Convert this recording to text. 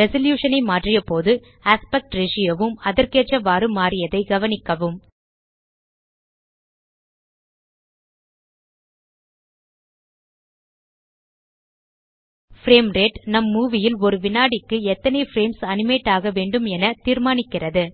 resolution ஐ மாற்றியபோது aspect ratio வும் அதற்கேற்றவாறு மாறியதை கவனிக்கவும் பிரேம் ரேட் நம் மூவி ல் ஒரு வினாடிக்கு எத்தனை பிரேம்ஸ் அனிமேட் ஆகவேண்டும என தீர்மானிக்கிறது